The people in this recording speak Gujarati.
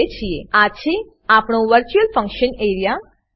આ છે આપણો virtual function A R E A virtual function area